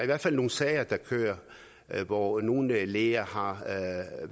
hvert fald nogle sager der kører hvor nogle læger har